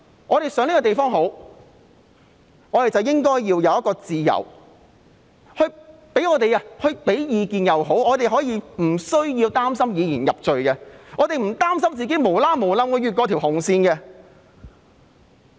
我們想這個地方好，便應該有提供意見的自由，而無須擔心會被以言入罪，也不用擔心自己會不小心越過了紅線。